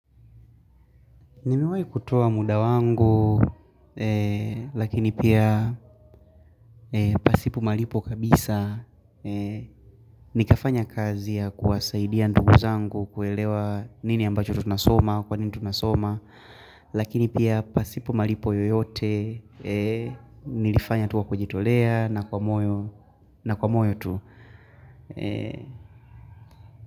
Nimewahi kutua muda wangu, lakini pia pasipo malipo kabisa. Nikafanya kazi ya kuwasaidia ndugu zangu kuelewa nini ambacho huwa tunasoma, kwanini tunasoma. Lakini pia pasipo malipo yoyote, nilifanya tu wa kujitolea na kwa moyo tu.